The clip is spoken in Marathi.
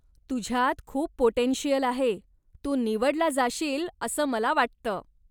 तुझ्यात खूप पाॅटेंशियल आहे, तू निवडला जाशील असं मला वाटतं.